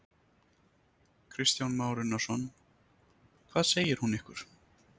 Kristján Már Unnarsson: Hvað segir hún ykkur?